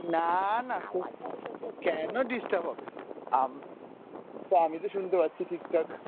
না না। কেন disturb হবে? আম~আমি তো শুনতে পাচ্ছি ঠিকঠাক।